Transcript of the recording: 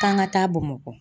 K'an ka taa Bamakɔ.